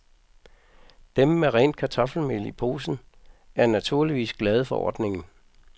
Dem med rent kartoffelmel i posen, er naturligvis glade for ordningen.